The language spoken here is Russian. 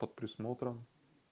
под присмотром